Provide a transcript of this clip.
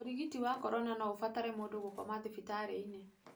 ũrigiti wa corona no ũbatare mũndũ gũkoma thibitarĩinĩ.